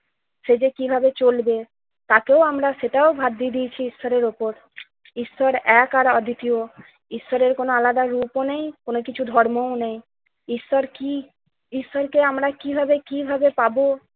সে যে কিভাবে চলবে তাকেও আমরা সেটাও ভাসিয়ে দিয়েছি ঈশ্বরের উপর। ঈশ্বর এক আর অদ্বিতীয়। ঈশ্বরের আলাদা কোন রূপও নেই কোন কিছু ধর্মও নেই। ঈশ্বর কি? ঈশ্বরকে আমরা কিভাবে কিভাবে পাব?